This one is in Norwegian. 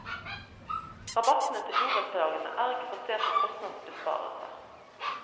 Rabattene til borettslagene er ikke basert på kostnadsbesparelser.